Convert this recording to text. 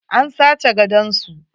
An sace gadon su.